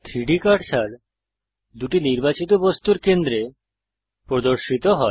3ডি কার্সার দুটি নির্বাচিত বস্তুর কেন্দ্রে প্রদর্শিত হয়